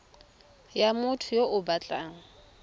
ya motho yo o batlang